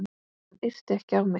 Hann yrti ekki á mig.